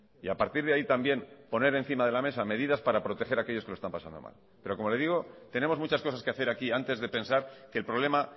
y a partir de ahí también poner encima de la mesa medidas para proteger a aquellos que lo están pasando mal pero como le digo tenemos muchas cosas que hacer aquí antes de pensar que el problema